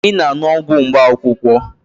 Ị na-aṅụ ọgwụ mkpaakwụkwọ?